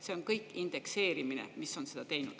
See on kõik indekseerimine, mis on seda teinud.